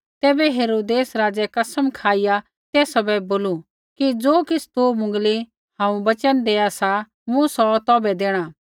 तैबै हेरोदेस राज़ै कसम खाईया तेसा बै बोलू कि ज़ो किछ़ तू मुँगली हांऊँ वचन देआ सा मूँ सौ तौभै देणा